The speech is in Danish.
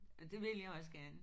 Og det vil jeg også gerne